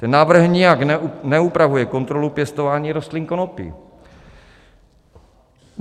Ten návrh nijak neupravuje kontrolu pěstování rostlin konopí.